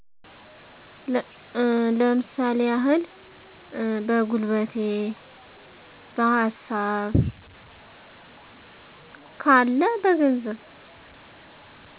ለምሳሌ ያህል በጉልበቴ፣ በሀሳብ ካለ በገንዘብ